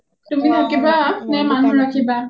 তুমি থাকিবা নে মানুহ ৰাখিবা?